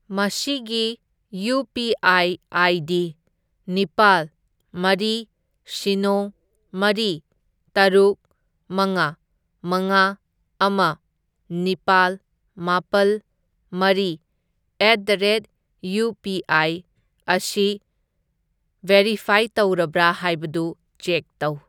ꯃꯁꯤꯒꯤ UPI. ID. ꯅꯤꯄꯥꯜ, ꯃꯔꯤ, ꯁꯤꯅꯣ, ꯃꯔꯤ, ꯇꯔꯨꯛ, ꯃꯉꯥ, ꯃꯉꯥ, ꯑꯃ, ꯅꯤꯄꯥꯜ, ꯃꯥꯄꯜ, ꯃꯔꯤ at the rate U P I ꯑꯁꯤ ꯚꯦꯔꯤꯐꯥꯏ ꯇꯧꯔꯕ꯭ꯔꯥ ꯍꯥꯏꯕꯗꯨ ꯆꯦꯛ ꯇꯧ꯫